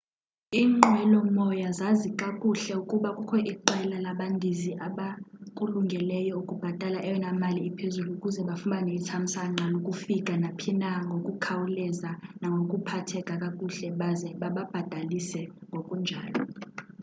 inqwelomoya zazi kakuhle ukuba kukho iqela labandizi abakulungeleyo ukubhatala eyona mali iphezulu ukuze bafumane ithamsanqa lokufika naphina ngokukhawuleza nangokuphatheka kakuhle baze bababhatalise ngokunjalo